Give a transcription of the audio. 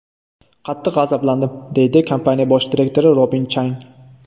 Qattiq g‘azabladim”, deydi kompaniya bosh direktori Robin Chang.